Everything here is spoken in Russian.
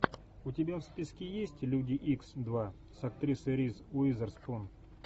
у тебя в списке есть люди икс два с актрисой риз уизерспун